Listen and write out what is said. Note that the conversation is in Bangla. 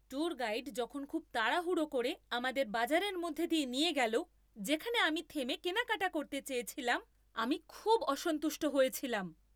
ট্যুর গাইড যখন খুব তাড়াহুড়ো করে আমাদের বাজারের মধ্যে দিয়ে নিয়ে গেল যেখানে আমি থেমে কেনাকাটা করতে চেয়েছিলাম, আমি খুব অসন্তুষ্ট হয়েছিলাম।